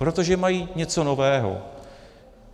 Protože mají něco nového.